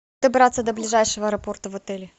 добраться до ближайшего аэропорта в отеле